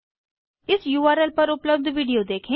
इस उर्ल पर उपलब्ध विडिओ देखें